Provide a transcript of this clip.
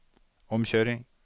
omkjøring